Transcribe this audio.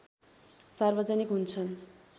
सार्वजनिक हुन्छन्